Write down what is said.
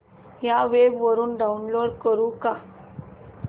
या वेब वरुन डाऊनलोड करू का